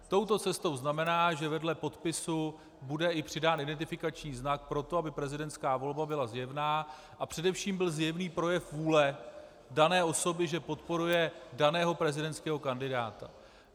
Touto cestou znamená, že vedle podpisu bude přidán i identifikační znak pro to, aby prezidentská volba byla zjevná a především byl zjevný projev vůle dané osoby, že podporuje daného prezidentského kandidáta.